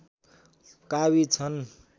काबिज छन्